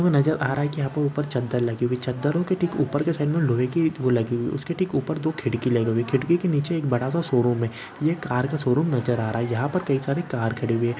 नजर आ रहा है कि यह पे ऊपर चद्दर लगी हुई है चद्दरों की ठीक ऊपर के साइड में लोहै की एक वो लगी हुई है उसके ठीक ऊपर दो खिड़की लगी हुई है खीड़की के नीचे एक बड़ा-सा शोरूम है ये कार का शोरूम नजर आ रहा है यहाँ पर कई सारी कार खड़ी हुई हैं।